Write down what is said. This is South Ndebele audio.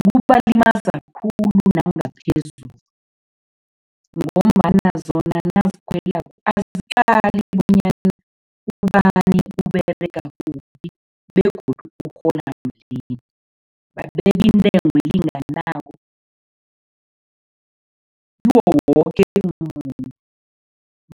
Kubalimaza khulu nangaphezulu ngombana zona nazikhwelalo aziqali bonyana ubani Uberega kuphi begodu urhola malini. Babeka intengo elinganako kiwo woke umuntu,